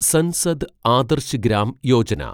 Sansad Adarsh Gram Yojana